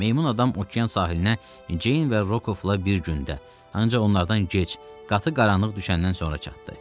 Meymun adam okean sahilinə Ceyn və Rokovla bir gündə, ancaq onlardan gec, qatı qaranlıq düşəndən sonra çatdı.